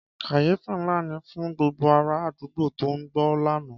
Kàyéfì ńlá ni fún gbogbo ara àdúgbò tó gbọ́ lánàá.